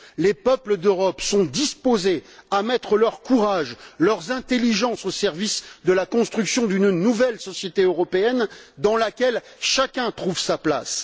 Les peuples d'Europe sont disposés à mettre leur courage, leurs intelligences au service de la construction d'une nouvelle société européenne dans laquelle chacun trouve sa place.